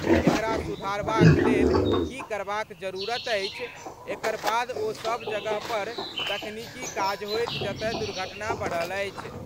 एकरा सुधारबाक लेल की करबाक जरूरत अछि? एकर बाद ओ सब जगह पर तकनीकी काज होएत जतय दुर्घटना बढ़ल अछि।